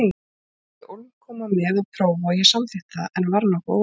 Hún vildi ólm koma með og prófa og ég samþykkti það en var nokkuð órótt.